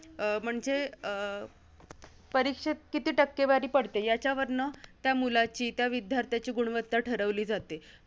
अं म्हणजे अं परीक्षेत किती टक्केवारी पडते, याच्यावरनं त्या मुलाची, त्या विद्यार्थ्याची गुणवत्ता ठरवली जाते.